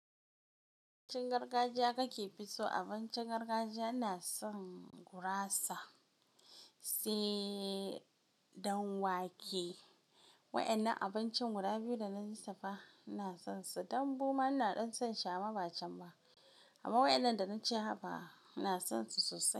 Abincin gargajiya kakefi so, abincin gargajiya ina son gurasa sai ɗanwake. Wa'innan abincin guda biyu dana lissafa ina son su, dambu ina ɗan son shi amma ba can ba. Amma wa'innan da na ce haba ina son su sosai.